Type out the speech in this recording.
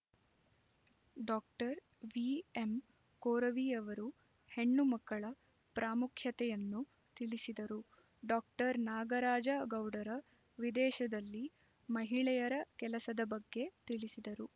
doctor V M ಕೊರವಿಯವರು ಹೆಣ್ಣು ಮಕ್ಕಳ ಪಾಮುಖ್ಯತೆಯನ್ನು ತಿಳಿಸಿದರು ಡಾಕ್ಟರ್ ನಾಗರಾಜ ಗೌಡರ ವಿದೇಶದಲ್ಲಿ ಮಹಿಳೆಯರ ಕೆಲಸದ ಬಗ್ಗೆ ತಿಳಿಸಿದರು